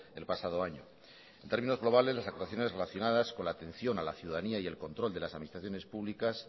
el pasado año en términos globales las actuaciones relacionadas con la atención a la ciudadanía y el control de las administraciones públicas